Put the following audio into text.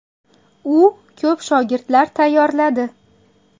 U ko‘p shogirdlar tayyorladi.